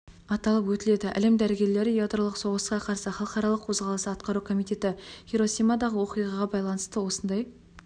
аталып өтіледі әлем дәрігерлері ядролық соғысқа қарсы халықаралық қозғалысы атқару комитеті хиросимадағы оқиғаға байланысты осындай